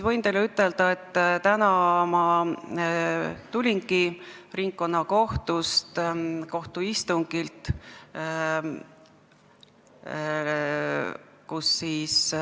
Võin teile ütelda, et täna ma tulingi ringkonnakohtu istungilt.